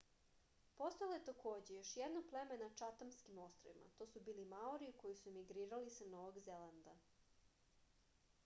postojalo je takođe još jedno pleme na čatamskim ostrvima to su bili maori koji su emigrirali sa novog zelanda